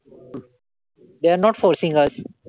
They are not forcing us.